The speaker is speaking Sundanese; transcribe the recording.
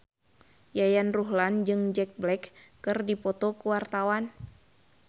Yayan Ruhlan jeung Jack Black keur dipoto ku wartawan